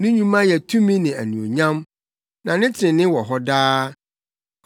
Ne nnwuma yɛ tumi ne anuonyam, na ne trenee wɔ hɔ daa.